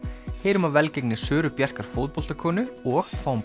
heyrum af velgengni Söru Bjarkar fótboltakonu og fáum